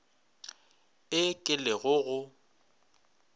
e ke le go go